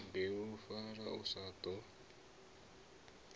u bilufhala u ḓo sa